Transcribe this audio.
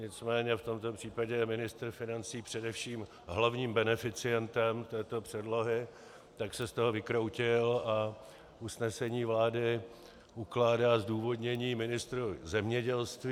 Nicméně v tomto případě je ministr financí především hlavním beneficientem této předlohy, tak se z toho vykroutil, a usnesení vlády ukládá zdůvodnění ministru zemědělství.